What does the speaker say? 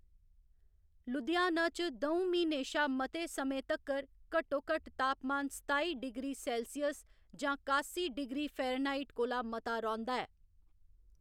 लुधियाना च द'ऊं म्हीनें शा मते समें तक्कर घट्टोघट्ट तापमान सताई डिग्री सेल्सियस जां कासी डिग्री फारेनहाइट कोला मता रौंह्‌‌‌दा ऐ।